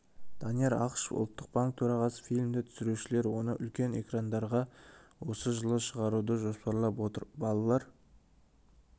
данияр ақышев ұлттық банк төрағасы фильмді түсірушілер оны үлкен экрандарға осы жылы шығаруды жоспарлап отыр балалар